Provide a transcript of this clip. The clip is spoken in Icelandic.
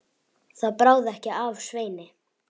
Það bráði ekki af Sveini.